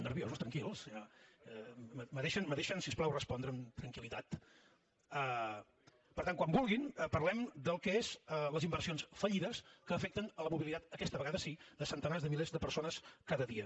me deixen si us plau respondre amb tranquil·litat per tant quan vulguin parlem del que són les inversions fallides que afecten la mobilitat aquesta vegada sí de centenars de milers de persones cada dia